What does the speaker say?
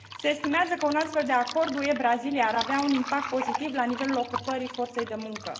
Se estimează că un astfel de acord UE Brazilia ar avea un impact pozitiv la nivelul ocupării forței de muncă.